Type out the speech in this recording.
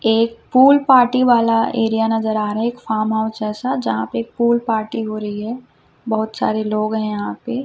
एक pool party वाला area नज़र आ रहा है एक फॉर्म हाउस जैसा यहाँ पे एक पूल पार्टी हो रही है बहुत सारे लोग है यहाँ पे।